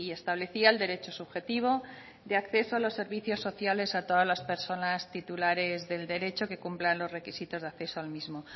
establecía el derecho subjetivo de acceso a los servicios sociales a todas las personas titulares del derecho que cumplan los requisitos de acceso al mismo